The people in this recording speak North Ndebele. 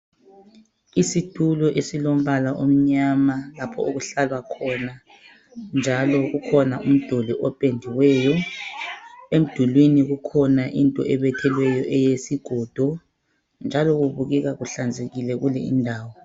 Isitulo esilombala omnyama lapho okuhlalwa khona njalo kukhona umduli opendiweyo. Emdulwini kukhona into ebethelweyon eyesigodo njalo kubukeka kuhlanzekile kule indawo